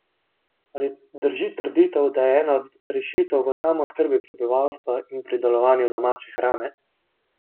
Ali drži trditev, da je ena od rešitev v samooskrbi prebivalstva in pridelovanju domače hrane?